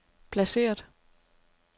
placeret